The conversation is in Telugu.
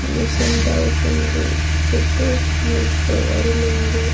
మిషన్ చుట్టూ మనుషులు ఎవరూ లేరు.